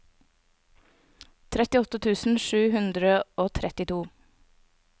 trettiåtte tusen sju hundre og trettito